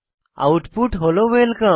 output হল welcome